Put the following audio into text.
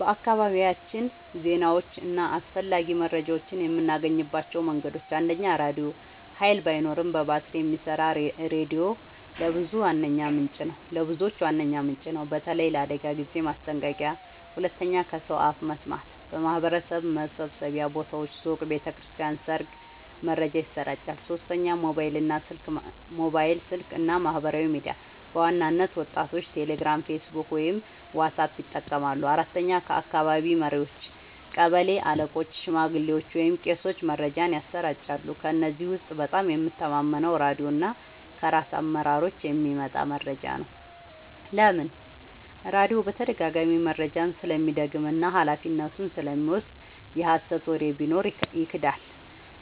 በአካባቢያችን ዜናዎችን እና አስፈላጊ መረጃዎችን የምናገኝባቸው መንገዶች፦ 1. ራድዮ – ኃይል ባይኖርም በባትሪ የሚሰራ ሬዲዮ ለብዙዎች ዋነኛ ምንጭ ነው፣ በተለይ ለአደጋ ጊዜ ማስጠንቀቂያ። 2. ከሰው አፍ መስማት – በማህበረሰብ መሰብሰቢያ ቦታዎች (ሱቅ፣ ቤተ ክርስቲያን፣ ሰርግ) መረጃ ይሰራጫል። 3. ሞባይል ስልክ እና ማህበራዊ ሚዲያ – በዋናነት ወጣቶች ቴሌግራም፣ ፌስቡክ ወይም ዋትስአፕ ይጠቀማሉ። 4. ከአካባቢ መሪዎች – ቀበሌ አለቆች፣ ሽማግሌዎች ወይም ቄሶች መረጃን ያሰራጫሉ። ከእነዚህ ውስጥ በጣም የምተማመነው ራድዮ እና ከራስ አመራሮች የሚመጣ መረጃ ነው። ለምን? · ራድዮ በተደጋጋሚ መረጃውን ስለሚደግም እና ኃላፊነቱን ስለሚወስድ። የሀሰት ወሬ ቢኖር ይክዳል። ·